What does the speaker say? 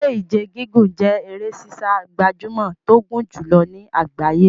Eré Ìje gígùn jẹ́ eré sísá gbajúmọ̀ tó gùn jùlọ ní àgbáyé.